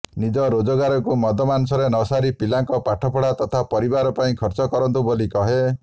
ନିଜ ରୋଜଗାରକୁ ମଦମାଂସରେ ନ ସାରି ପିଲାଙ୍କ ପାଠପଢା ତଥା ପରିବାର ପାଇଁ ଖର୍ଚ୍ଚ କରନ୍ତୁ ବୋଲି କହେ